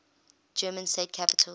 german state capitals